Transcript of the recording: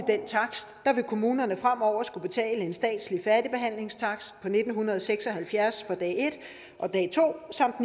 den takst vil kommunerne fremover skulle betale en statslig færdigbehandlingstakst på nitten seks og halvfjerds for dag en og dag to samt